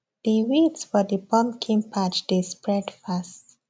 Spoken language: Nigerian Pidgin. the weeds for the pumpkin patch dey spread fast